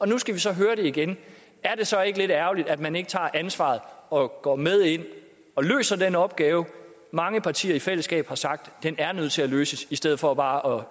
nu skal vi så høre det igen er det så ikke lidt ærgerligt at man ikke tager ansvaret og går med ind og løser den opgave mange partier i fællesskab har sagt er nødt til at blive løst i stedet for bare